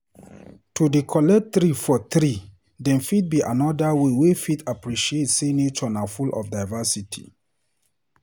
To dey collect leave for tree dem fit be another way wey fit appreciate sey nature na full of diversity.